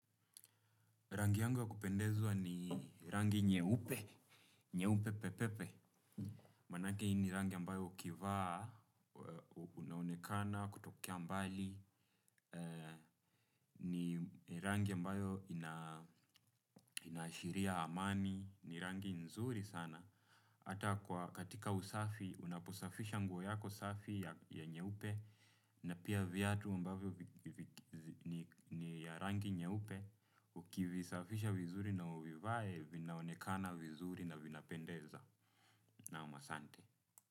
Rangi yangu ya kupendezwa ni rangi nyeupe, nyeupe pe pe pe, maanake hii ni rangi ambayo ukivaa unaonekana kutokea mbali, ni rangi ambayo inashiria amani, ni rangi nzuri sana. Hata kwa katika usafi, unaposafisha nguo yako safi ya nyeupe, na pia viatu ambavyo ni ya rangi nyeupe, ukivisafisha vizuri na uvivae, vinaonekana vizuri na vinapendeza. Naam asante.